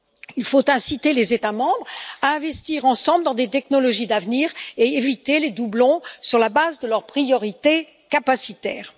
Il faut inciter les États membres à investir ensemble dans des technologies d'avenir et éviter les doublons, sur la base de leurs priorités capacitaires.